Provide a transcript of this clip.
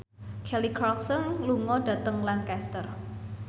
Kelly Clarkson lunga dhateng Lancaster